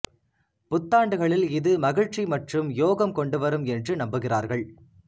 புத்தாண்டுகளில் இது மகிழ்ச்சி மற்றும் யோகம் கொண்டுவரும் என்று நம்புகிறார்கள்